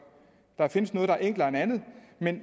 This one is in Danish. der findes noget der er enklere end andet